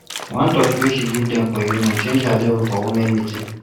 one turkey wey she give dem for union change her level for women meeting